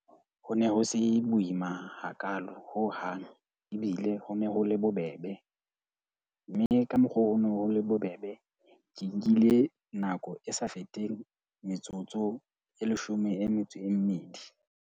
Ho ne ho se boima hakaalo hohang, ebile ho ne ho le bobebe. Mme ka mokgo ho no ho le bobebe ke nkile nako e sa feteng metsotso e leshome e metso e mmedi.